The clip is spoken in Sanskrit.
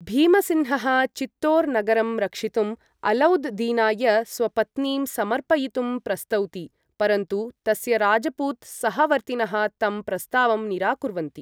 भीमसिन्हः चित्तोर् नगरं रक्षितुम् अलौद् दीनाय स्वपत्नीं समर्पयितुं प्रस्तौति, परन्तु तस्य राजपूत सहवर्तिनः तं प्रस्तावं निराकुर्वन्ति।